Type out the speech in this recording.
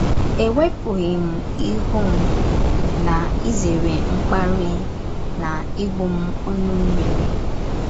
Ewepụghị m ihu m, na- ịzere mkparị na ịgbụ m ọnụ mmiri. ”